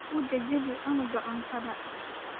Uu jajabi canuga cuntada .